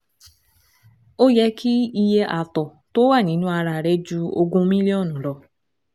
Ó yẹ kí iye ààtọ̀ tó wà nínú ara rẹ ju ogún mílíọ̀nù lọ